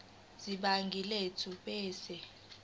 sebhangi lethu ebese